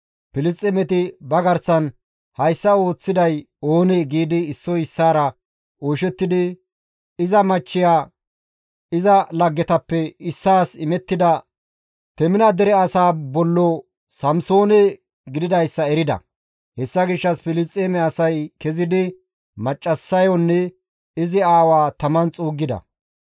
Filisxeemeti ba garsan, «Hayssa ooththiday oonee?» giidi issoy issaara oyshettidi iza machchiya iza laggetappe issaas imettida Temina dere asaa bollo Samsoone gididayssa erida; hessa gishshas Filisxeeme asay kezidi maccassayonne izi aawaa taman xuuggida.